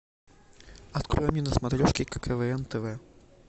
открой мне на смотрешке квн тв